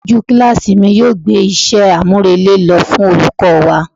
Aṣojú kíláàsì mi yóò gbé iṣẹ́ àmúrelé lọ fún olùkọ́ wa.